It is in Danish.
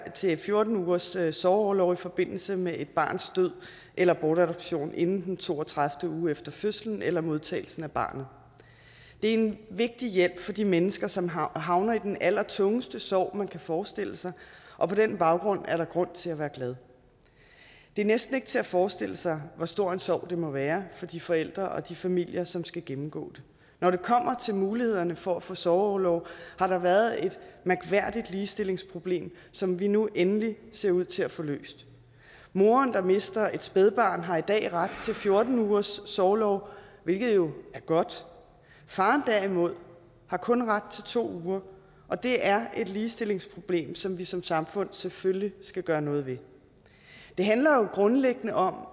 til fjorten ugers sorgorlov i forbindelse med et barns død eller bortadoption inden den to og tredive uge efter fødslen eller modtagelsen af barnet det er en vigtig hjælp for de mennesker som havner havner i den allertungeste sorg man kan forestille sig og på den baggrund er der grund til at være glad det er næsten ikke til at forestille sig hvor stor en sorg det må være for de forældre og de familier som skal gennemgå det når det kommer til mulighederne for at få sorgorlov har der været et mærkværdigt ligestillingsproblem som vi nu endelig ser ud til at få løst moren der mister et spædbarn har i dag ret til fjorten ugers sorgorlov hvilket jo er godt faren derimod har kun ret til to uger og det er et ligestillingsproblem som vi som samfund selvfølgelig skal gøre noget ved det handler jo grundlæggende om